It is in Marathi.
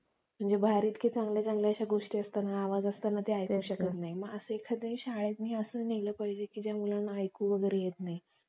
म्हणजे बाहेर इतके चांगले चांगले गोष्टी असतात असताना आवाज असताना ते ऐकू शकत नाही ते एखाद्या शाळेत असं नेलं पाहिजे या मुलांना ऐकू वगैरे येत नाही